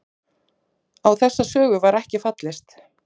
Á þessa sögu var ekki fallist